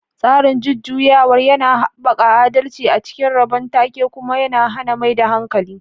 Tsarin jujjuyawar yana haɓaka adalci a cikin rabon take kuma yana hana maida hankali.